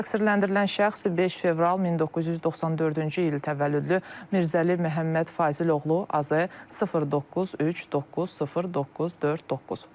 Təqsirləndirilən şəxs 5 fevral 1994-cü il təvəllüdlü Mirzəli Məhəmməd Fazil oğlu AZI 09390949.